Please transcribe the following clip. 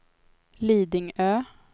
Lidingö